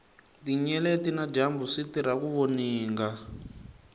tinyeleti na dyambu switirha ku voninga